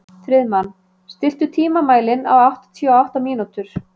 Friðmann, stilltu tímamælinn á áttatíu og átta mínútur.